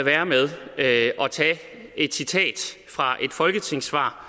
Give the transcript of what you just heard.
være med at tage et citat fra et folketingssvar